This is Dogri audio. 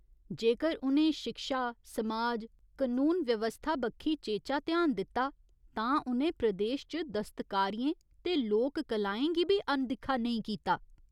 जेकर उ'नें शिक्षा, समाज, कनून व्यवस्था बक्खी चेचा ध्यान दित्ता तां उ'नें प्रदेश च दस्तकारियें ते लोक कलाएं गी बी अनदिक्खा नेईं कीता।